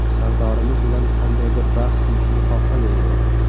Sardorimiz bilan qandaydir bahs qilishni xohlamayman.